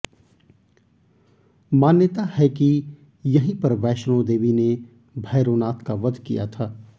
मान्यता है कि यहीं पर वैष्णो देवी ने भैरोनाथ का वध किया था